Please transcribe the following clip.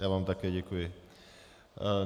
Já vám také děkuji.